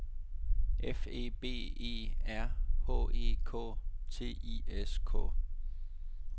F E B E R H E K T I S K